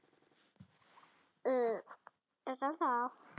Svo það er þetta sem þær skulu borga útræðisjarðirnar, sagði Marteinn.